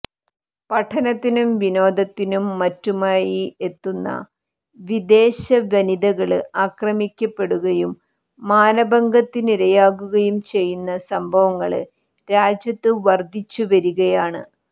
പഠനത്തിനും വിനോദത്തിനും മറ്റുമയി എത്തുന്ന വിദേശ വനിതകള് അക്രമിക്കപ്പെടുയും മാനഭംഗത്തിനിരയാകുകയും ചെയ്യുന്ന സംഭവങ്ങള് രാജ്യത്ത് വര്ധിച്ചുവരികയാണ്